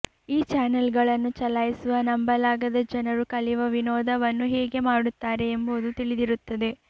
ಈ ಚಾನಲ್ಗಳನ್ನು ಚಲಾಯಿಸುವ ನಂಬಲಾಗದ ಜನರು ಕಲಿಯುವ ವಿನೋದವನ್ನು ಹೇಗೆ ಮಾಡುತ್ತಾರೆ ಎಂಬುದು ತಿಳಿದಿರುತ್ತದೆ